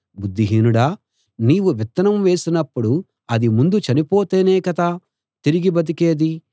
బుద్ధి హీనుడా నీవు విత్తనం వేసినప్పుడు అది ముందు చనిపోతేనే కదా తిరిగి బతికేది